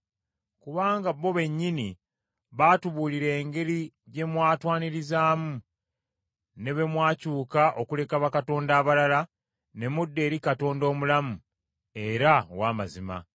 Kubanga bo bennyini batubuulira engeri gye mwatwanirizaamu, ne bwe mwakyuka okuleka bakatonda abalala ne mudda eri Katonda omulamu era ow’amazima,